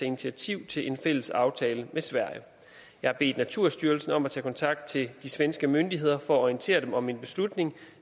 initiativ til en fælles aftale med sverige jeg har bedt naturstyrelsen om at tage kontakt til de svenske myndigheder for at orientere dem om min beslutning